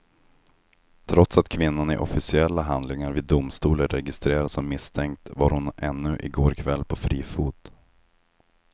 Trots att kvinnan i officiella handlingar vid domstol är registrerad som misstänkt var hon ännu i går kväll på fri fot.